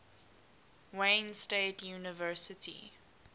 wayne state university